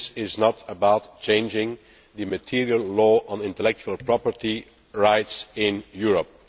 This is not about changing the material law on intellectual property rights in Europe.